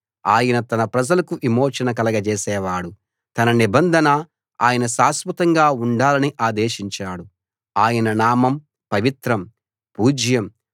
ఆయన తన ప్రజలకు విమోచన కలగజేసేవాడు తన నిబంధన ఆయన శాశ్వతంగా ఉండాలని ఆదేశించాడు ఆయన నామం పవిత్రం పూజ్యం